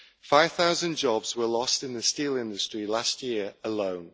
Five thousand jobs were lost in the steel industry last year alone.